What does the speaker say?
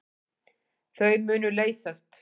Þau munu leysast.